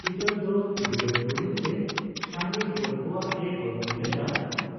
ᱪᱤᱛᱟᱹᱨ ᱫᱚ ᱵᱤᱞᱟᱹᱛ ᱞᱩᱜᱽᱲᱤ ᱛᱮ ᱥᱟᱸᱜᱮ ᱦᱚᱲ ᱠᱚᱣᱟᱜ ᱮ ᱵᱚᱨᱱᱚᱱ ᱞᱮᱫᱟ,